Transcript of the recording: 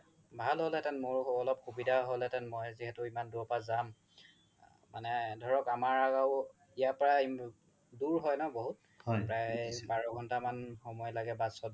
ভাল হ'ল হেতেন মোৰ অলপ সুবিধা হ'ল হেতেন মই যিহেতু ইমান দুৰৰ পৰা যাম মানে ধৰক অমাৰ ইয়াৰ পাৰাই দুৰ হয় ন বহুত প্ৰাই বাৰ ঘন্তা মান সময় লাগে bus ত